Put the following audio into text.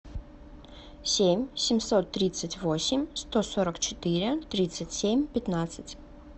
семь семьсот тридцать восемь сто сорок четыре тридцать семь пятнадцать